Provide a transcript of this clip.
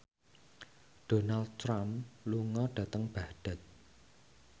Donald Trump lunga dhateng Baghdad